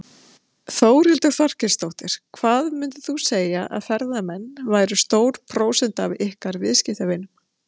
Þórhildur Þorkelsdóttir: Hvað myndir þú segja að ferðamenn væru stór prósenta af ykkar viðskiptavinum?